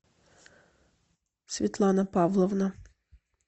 светлана павловна